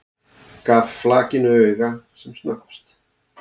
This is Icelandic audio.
Gaf flakinu auga sem snöggvast.